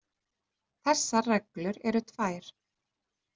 Þessar reglur eru tvær.